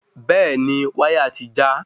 Bẹ́ẹ̀ni wáyà ti já